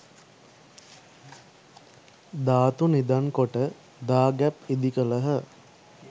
ධාතු නිදන් කොට දාගැබ් ඉදි කළහ.